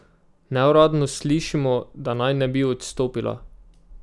Neuradno slišimo, da naj ne bi odstopila.